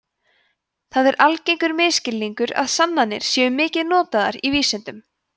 það er algengur misskilningur að sannanir séu mikið notaðar í vísindum